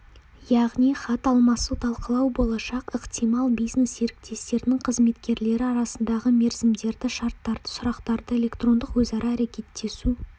яғни хат алмасу талқылау болашақ ықтимал бизнес-серіктестердің қызметкерлері арасындағы мерзімдерді шарттарды сұрақтарды электрондық өзара әрекеттесу